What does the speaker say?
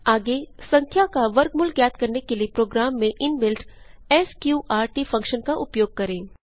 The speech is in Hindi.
आगे संख्या का वर्गमूल ज्ञात करने के लिए प्रोग्राम में इंबिल्ट स्कॉर्ट फंक्शन का उपयोग करें